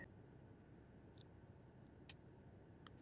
Er þessi fræðigrein iðkuð hér á landi?